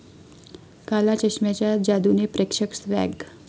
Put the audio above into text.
काला चष्मा'च्या जादुने प्रेक्षक 'स्वॅग'